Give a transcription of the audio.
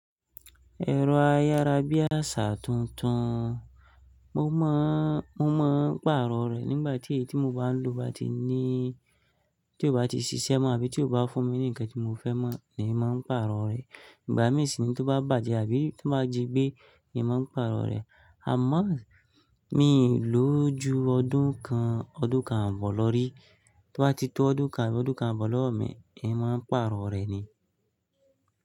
Ẹ̀rọ ayárabíàṣá tuntun, mo máa ń pàrọ̀ rẹ̀ nígbà tí èyí tí mo bá ń lo tí ó bá ti ṣiṣẹ́ mọ́ àbí tí ó bá fún mi ní ǹkan tí mo fẹ́ mọ̀, le mi màá ń pàrọ̀ rẹ̀. Ìgbà mí sì ni tó bá bàjẹ́ àbí tó bá jí gbé emi màá ń pàrọ̀ rẹ̀. Àmọ́ mi ò lò ó ju ọdún kan, ọdún kan ààbọ̀ lọ rí. Tó bá ti tó ọdún kan, abi ọdún kan ààbọ̀ lọ́wọ́ mi emi màá pàrọ̀ rẹ̀ ni.